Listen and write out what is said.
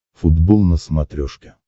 футбол на смотрешке